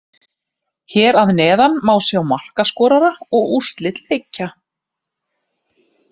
Hér að neðan má sjá markaskorara og úrslit leikja.